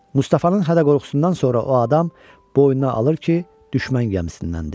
Mustafanın hədə-qorxusundan sonra o adam boynuna alır ki, düşmən gəmisindəndir.